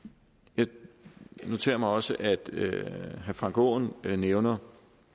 jeg noterer mig også at herre frank aaen nævner